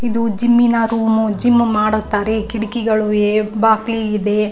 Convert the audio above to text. ಇದು ಜಿಮ್ ನ room gym ಮಾಡುತ್ತಾರೆ ಕಿಟಕಿಗಳಿವೆ ಬಾಗಿಲುಗಳಿವೆ.